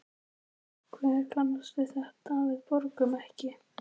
Hver kannast við þetta, við borgum ekki?